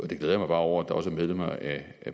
jeg glæder mig bare over at der også er medlemmer af